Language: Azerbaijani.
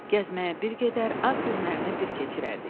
Gəzməyə bir gedər, ad günlərini bir keçirərdik.